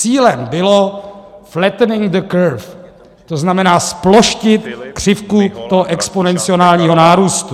Cílem bylo flattening the curve, to znamená zploštit křivku toho exponenciálního nárůstu.